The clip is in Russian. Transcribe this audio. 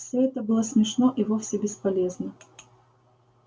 всё это было смешно и вовсе бесполезно